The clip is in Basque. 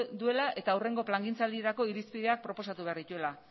duela eta hurrengo plangintzaldirako irizpideak proposatu behar dituela